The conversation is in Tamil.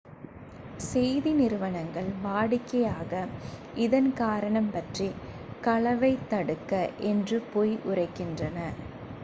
"செய்தி நிறுவனங்கள் வாடிக்கையாக இதன் காரணம் பற்றி "களவைத் தடுக்க" என்று பொய் உரைக்கின்றன.